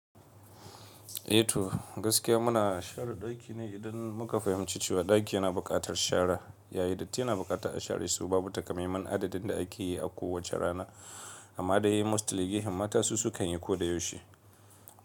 Eh to gaskiya muna share ɗaki ne idan muka fahimci cewa ɗaki yana buƙatar shara, yayi datti yana bukata a share shi. Babu taƙamaiman adadin da ake yi a kowace rana, amma dai mostly gehen mata su sukan yi ko da yaushe.